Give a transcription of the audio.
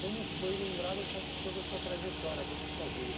Como foi lembrar dessa toda a sua trajetória, toda a sua vida?